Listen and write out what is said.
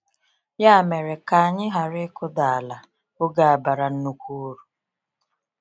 Ya mere, ka anyị ghara ịkụdaala oge a bara nnukwu uru.